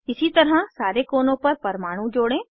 इसी तरह सारे कोनों पर परमाणु जोड़ें